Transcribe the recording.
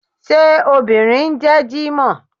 Ṣé obìnrin ń jẹ́ jímọ̀h?